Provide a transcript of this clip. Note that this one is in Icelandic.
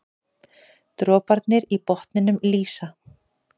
Droparnir í botninum lýsa.